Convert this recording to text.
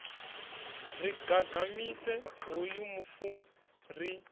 ri gagamise hoyu mufu ri